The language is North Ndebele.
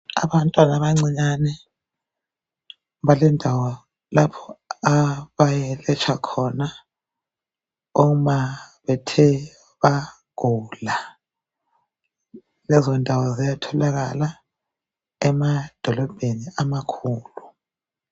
Abantwana abancinyane balendawo lapho abayelatshwa khona uma bethe bagula. Lezondawo ziyatholakala emadolobheni amakhulu